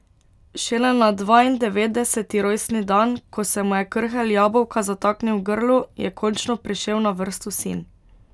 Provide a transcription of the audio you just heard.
Šele na dvaindevetdeseti rojstni dan, ko se mu je krhelj jabolka zataknil v grlu, je končno prišel na vrsto sin.